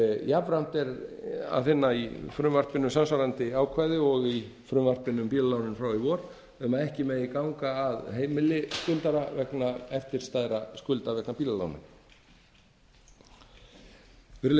jafnframt er að finna í frumvarpinu samsvarandi ákvæði og í frumvarpinu um bílalánin frá í vor um að ekki megi ganga að heimili skuldara vegna eftirstæðra skulda vegna bílalána virðulegi